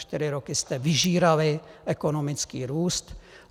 Čtyři roky jste vyžírali ekonomický růst.